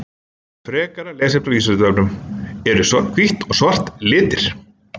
Frekara lesefni á Vísindavefnum: Eru hvítt og svart litir?